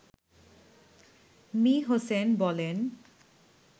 me: Hossain বলেন